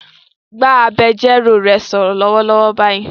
Bá agbẹjọ́rò rẹ sọ̀rọ̀ lọ́wọ́lọ́wọ́ báyìí